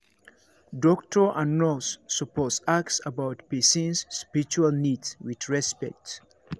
doctor and nurse suppose ask about person's spiritual needs with respect